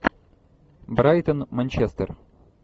брайтон манчестер